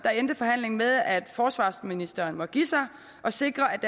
endte forhandlingen med at forsvarsministeren måtte give sig og sikre at